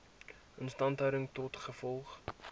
instandhouding tot gevolg